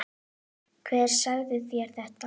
Hver sagði þér þetta?